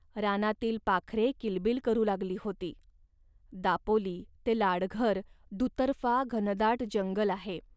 रानातील पाखरे किलबिल करू लागली होती. दापोली ते लाडघर दुतर्फा घनदाट जंगल आहे